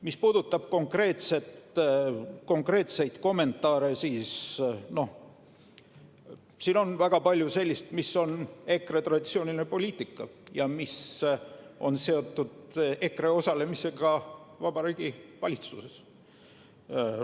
Mis puudutab konkreetseid kommentaare, siis siin on väga palju sellist, mis on EKRE traditsiooniline poliitika ja mis on seotud EKRE osalemisega Vabariigi Valitsuses.